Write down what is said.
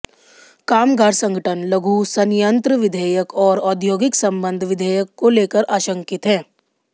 कामगार संगठन लघु संयंत्र विधेयक और औद्योगिक संबंध विधेयक को लेकर आशंकित हैं